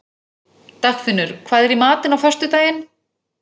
Dagfinnur, hvað er í matinn á föstudaginn?